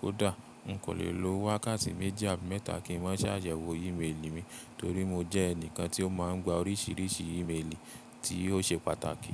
Kódà, n kò lè lo wákàtí méjì àbí mẹ́ta kí n má ṣ'àyẹ̀wò ìméèlì mi torí mo jẹ́ ẹnìkan tí ó má ń gba oríṣìíríṣìí ìméèlì tí ó ṣe pàtàkì.